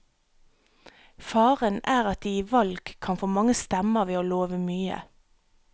Faren er at de i valg kan få mange stemmer ved å love mye.